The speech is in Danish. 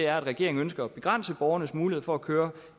regeringen ønsker at begrænse borgernes mulighed for at køre